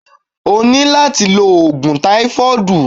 O ní láti lo òògùn táífọ́dùù.